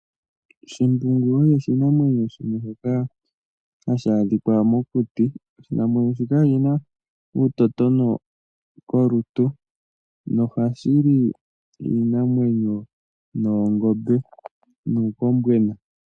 Shimbungu osho oshinamwenyo shimwe shoka hashi adhika mokuti oshinamwenyo shika oshina uutotono kolutu noha shili iinamweno, noongombe nuukombwena.